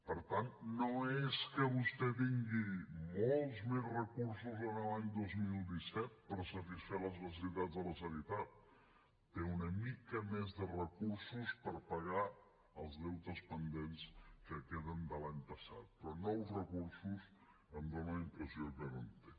per tant no és que vostè tingui molts més recursos l’any dos mil disset per satisfer les necessitats de la sanitat té una mica més de recursos per pagar els deutes pendents que queden de l’any passat però nous recursos em fa la impressió que no en té